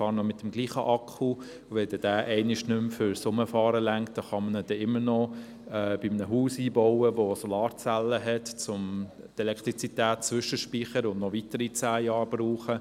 Ich fahre immer noch mit demselben Akku, und sollte er einmal fürs Autofahren nicht mehr reichen, kann man ihn immer noch in ein Haus mit Solarzellen einbauen, um die Elektrizität zwischenzuspeichern und ihn dann noch weitere zehn Jahre brauchen.